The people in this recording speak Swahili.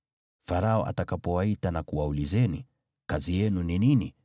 Farao atakapowaita na kuwaulizeni, ‘Kazi yenu ni nini?’